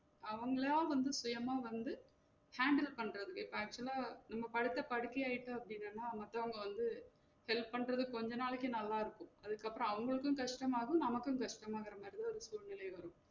அவங்களா வந்து சுயமா வந்து handle பண்றது மாதிரி இப்ப actual ஆ நம்ம படுத்த படுக்கையா ஆயிட்டோம் அப்டினன்னா நமக்குளாம் வந்து help பண்றதுக்கு கொஞ்ச நாளைக்கு நல்லா இருக்கும் அதுக்கப்றம் அவங்களுக்கும் கஷ்டமாகும் நமக்கும் கஷ்டமா ஆகுற மாதிரியே ஒரு சூழ்நிலை வரும்